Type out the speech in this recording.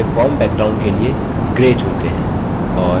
चलिए form background पृष्ठभूमि के लिए grey चुनते हैं